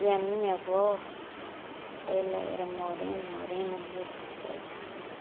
E a minha avó, ela era morena, morena mesmo, sabe?